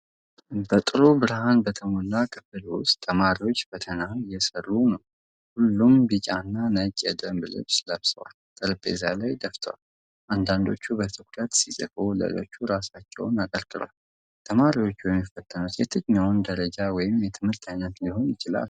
በጥሩ ብርሃን በተሞላ ክፍል ውስጥ ተማሪዎች ፈተና እየሠሩ ነው። ሁሉም ቢጫና ነጭ የደንብ ልብስ ለብሰው ጠረጴዛ ላይ ደፍተዋል። አንዳንዶቹ በትኩረት ሲጽፉ ሌሎች ራሳቸውን አቀርቅረዋል። ተማሪዎቹ የሚፈተኑት የትኛውን ደረጃ ወይም የትምህርት አይነት ሊሆን ይችላል?